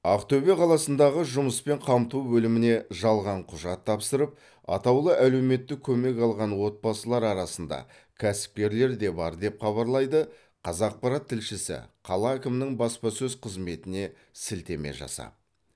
ақтөбе қаласындағы жұмыспен қамту бөліміне жалған құжат тапсырып атаулы әлеуметтік көмек алған отбасылар арасында кәсіпкерлер де бар деп хабарлайды қазақпарат тілшісі қала әкімінің баспасөз қызметіне сілтеме жасап